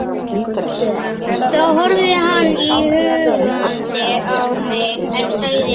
Þá horfði hann íhugandi á mig, en sagði svo